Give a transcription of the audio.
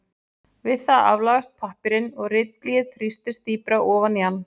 Við það aflagast pappírinn og ritblýið þrýstist dýpra ofan í hann.